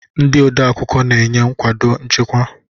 Ndị odeakwụkwọ na-enye nkwado nchịkwa.